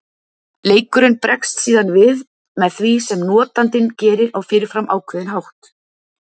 Leikurinn bregst síðan við því sem notandinn gerir á fyrirfram ákveðinn hátt.